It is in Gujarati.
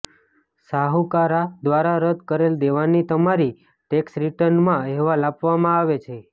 શાહુકાર દ્વારા રદ કરેલ દેવાની તમારી ટેક્સ રિટર્નમાં અહેવાલ આપવામાં આવે છે